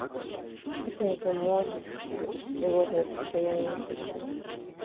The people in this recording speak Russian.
это не поможет будешь тревожное состояние чувствовать